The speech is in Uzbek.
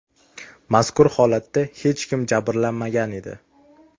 Mazkur holatda hech kim jabrlanmagan edi.